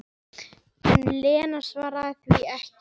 En Lena svaraði því ekki.